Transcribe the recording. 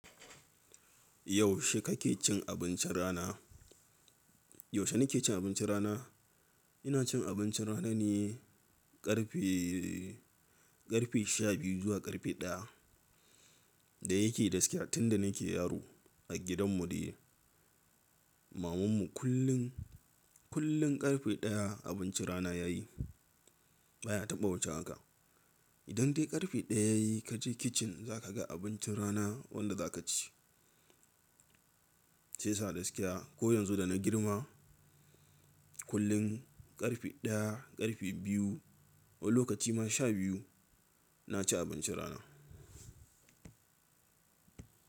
Yaushe kake cin abincin rana? Yaushe nake cin abincin rana? Ina cin abincin rana ne karfe, karfe sha biyu zuwa karfe ɗaya. Da yake gaskiya tunda nake yaro a gidan mu de maman mu kullum, kullum karfe ɗaya abincin rana ya yi. Ba ya taɓa wuce haka. Idan dai karfe ɗaya ka je kicin za ka ga abincin rana wanda za ka ci. Shi yasa gaskiya ko yanzu da na girma kullum karfe ɗaya, karfe biyu, wani lokaci ma sha biyu na ci abincin rana.